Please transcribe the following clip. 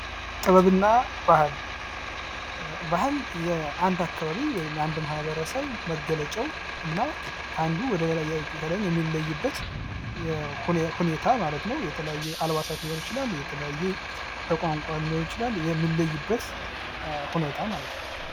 ጥበብና ባህል፦ ባህል የአንድ አካባቢ ወይም የአንድ ማህበረሰብ መገለጫው እና ከአንዱ ወደ ሌላው ለላኛው የሚለይበት ሁኔታ ማለት ነው የተለያዩ አልባሳት ይችላል የተለየ በቋንቋም ሊሆን ይችላል የሚለይበት ሁኔታ ማለት ነው ።